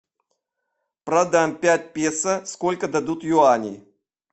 продам пять песо сколько дадут юаней